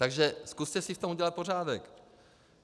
Takže zkuste si v tom udělat pořádek.